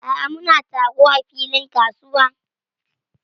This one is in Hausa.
A'a, muna taro a filin kasuwa.